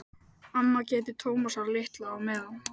Amma gætir Tómasar litla á meðan.